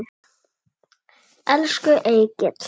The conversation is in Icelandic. Elsku Egill.